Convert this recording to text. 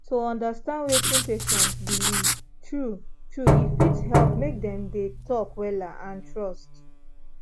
to understand wetin patient believe true true e fit help make dem dey talk wella and trust